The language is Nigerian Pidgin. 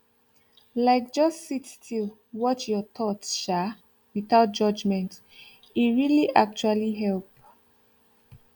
like just sit still watch your thoughts um without judgment e really actually help